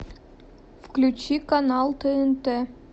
включи канал тнт